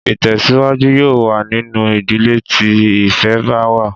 Ìtè̩síwájú yóò wà nínú ìdílé tí ìfé̩ bá wà